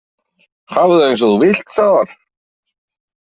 Hafðu það eins og þú vilt, sagði hann.